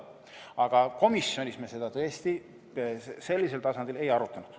Aga komisjonis me seda tõesti sellisel tasandil ei arutanud.